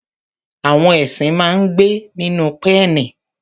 Àwọn ẹṣin máa ń gbé nínú pẹ́ẹ̀nì.